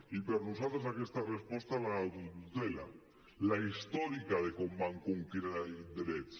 i per a nosaltres aquesta resposta l’adultera la històrica de com vam conquerir drets